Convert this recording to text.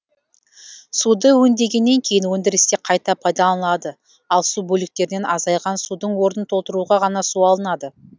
суды өңдегеннен кейін өндірісте қайта пайдаланады ал су бөліктерінен азайған судың орнын толтыруға ғана су алынады